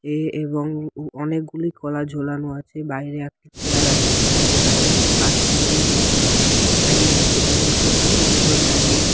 এ এবং উ অনেকগুলি কলা ঝোলানো আছে বাইরে একটা চেয়ার আছে। চেয়ার এর পাশে একটি বাচ্চা মেয়ে বসে আছে। দাঁড়িয়ে আছে এবং সে পাশে দুজন দাঁড়িয়ে আ --